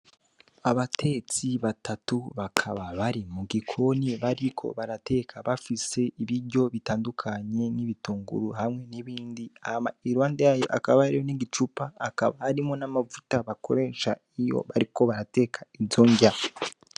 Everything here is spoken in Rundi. Abatetsi batatu bakaba bari mugikoni bariko barateka bafise ibiryo bitandukanye n'ibitunguru hamwe n'ibindi. Hama iruhande yaho hakaba hariyo n'igicupa hakaba harimwo n'amavuta bakoresha iyo bariko barateka izonrya.